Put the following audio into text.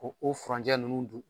O o furancɛ ninnu dun